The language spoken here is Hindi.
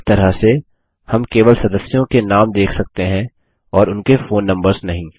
इस तरह से हम केवल सदस्यों के नाम देख सकते हैं और उनके फोन नम्बर्स नहीं